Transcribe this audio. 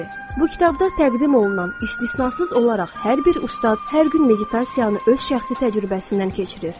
Bu kitabda təqdim olunan, istisnasız olaraq hər bir ustad hər gün meditasiyanı öz şəxsi təcrübəsindən keçirir.